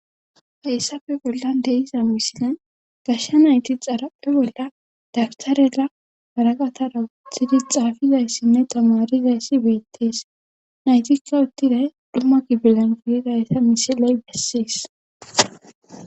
heyssafe bollan deiza misine gashsha nayti xarapphe bolla dagtarela baraqataraw txidi xaafizayssinne tamarizayssi beettees naytikka uttiday duma gibilan firidayta misiley bessees.